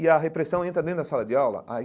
E a repressão entra dentro da sala de aula? aí